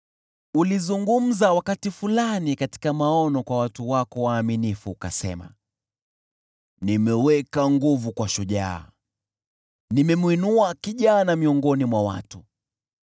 Ulizungumza wakati fulani katika maono, kwa watu wako waaminifu, ukasema: “Nimeweka nguvu kwa shujaa, nimemwinua kijana miongoni mwa watu.